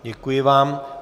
Děkuji vám.